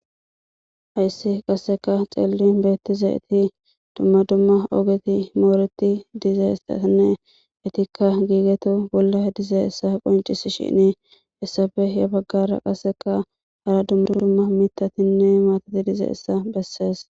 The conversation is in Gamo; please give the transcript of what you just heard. Hayssi qasseka ceellin beettiza iti dumma dumma ogeti mooreti dize isanne itikka giigetu bolla dize essa qoncis shinii essafe ya baggara qasseka hara dummu d dumma mitatinne maatati dize essa bessees.